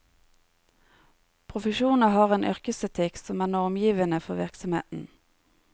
Profesjoner har en yrkesetikk som er normgivende for virksomheten.